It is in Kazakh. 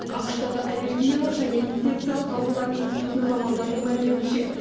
ақш тағы аллергиялық және инфекциялық аурулар институтының мамандарының мәліметінше